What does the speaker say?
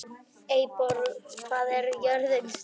Eyborg, hvað er jörðin stór?